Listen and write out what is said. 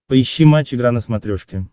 поищи матч игра на смотрешке